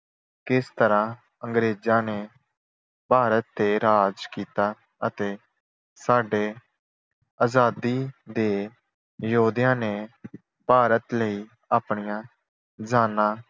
ਕਿਸ ਤਰ੍ਹਾਂ ਅੰਗਰੇਜ਼ਾਂ ਨੇ ਭਾਰਤ ਤੇ ਰਾਜ ਕੀਤਾ ਅਤੇ ਸਾਡੇ ਆਜ਼ਾਦੀ ਦੇ ਯੋਧਿਆ ਨੇ ਭਾਰਤ ਲਈ ਆਪਣੀਆਂ ਜਾਨਾਂ